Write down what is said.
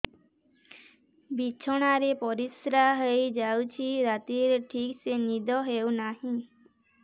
ବିଛଣା ରେ ପରିଶ୍ରା ହେଇ ଯାଉଛି ରାତିରେ ଠିକ ସେ ନିଦ ହେଉନାହିଁ